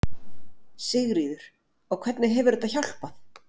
Sigríður: Og hvernig hefur þetta hjálpað?